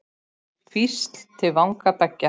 Hvísl til vanga beggja?